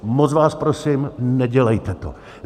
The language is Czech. Moc vás prosím, nedělejte to.